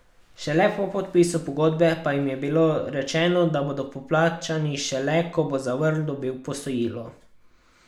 Šele po podpisu pogodbe pa jim je bilo rečeno, da bodo poplačani šele, ko bo Zavrl dobil posojilo.